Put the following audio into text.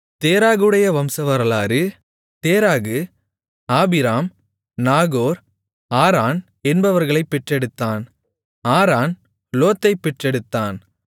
தேராகுடைய வம்சவரலாறு Terah Abram Nahor Haran என்பவர்களைப் பெற்றெடுத்தான் ஆரான் லோத்தைப் பெற்றெடுத்தான்